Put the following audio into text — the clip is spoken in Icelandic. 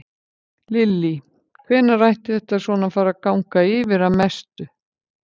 Lillý: Hvenær ætti þetta svona að fara að ganga að mestu yfir?